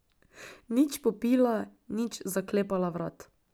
Nič popila, nič zaklepala vrat.